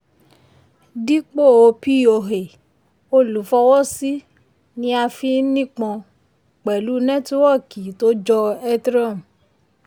dípò poa olùfọwọ́sí ni a fi nípọn pẹ̀lú nétíwọ́kì tó jọ ethereum.